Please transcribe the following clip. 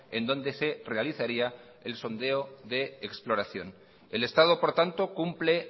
en donde se realizaría el sondeo de exploración el estado por tanto cumple